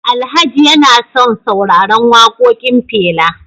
Alhaji yana son sauraran wakokin Fela